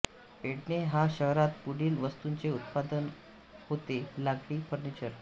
पेडणे ह्या शहरात पुढील वस्तूंचे उत्पादन होते लाकडी फर्निचर